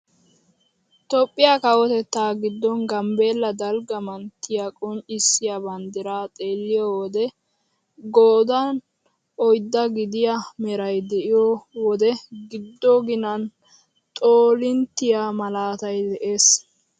Toophphiyaa kawotettaa giddon gambbeella dalgga manttiyaa qonccisiyaa banddiraa xeelliyoo wode qoodan oyddaa gidiyaa meray de'iyoo wode giddo ginan xoolinttiyaa malaatay de'ees!